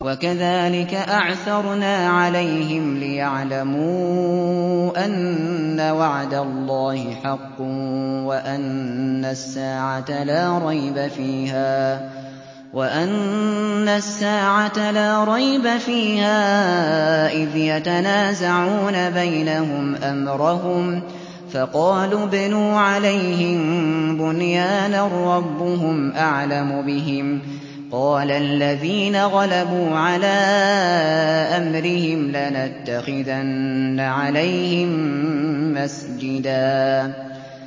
وَكَذَٰلِكَ أَعْثَرْنَا عَلَيْهِمْ لِيَعْلَمُوا أَنَّ وَعْدَ اللَّهِ حَقٌّ وَأَنَّ السَّاعَةَ لَا رَيْبَ فِيهَا إِذْ يَتَنَازَعُونَ بَيْنَهُمْ أَمْرَهُمْ ۖ فَقَالُوا ابْنُوا عَلَيْهِم بُنْيَانًا ۖ رَّبُّهُمْ أَعْلَمُ بِهِمْ ۚ قَالَ الَّذِينَ غَلَبُوا عَلَىٰ أَمْرِهِمْ لَنَتَّخِذَنَّ عَلَيْهِم مَّسْجِدًا